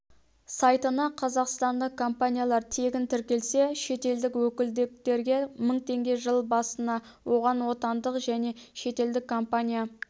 сайтына қазақстандық компаниялар тегін тіркелсе шетелдік өкілдіктерге мың теңге жыл басынан оған отандық және шетелдік компания